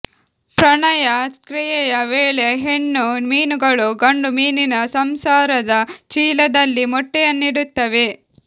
ಪ್ರಣಯ ಕ್ರಿಯೆಯ ವೇಳೆ ಹೆಣ್ಣು ಮೀನುಗಳು ಗಂಡು ಮೀನಿನ ಸಂಸಾರದ ಚೀಲದಲ್ಲಿ ಮೊಟ್ಟೆಯನ್ನಿಡುತ್ತವೆ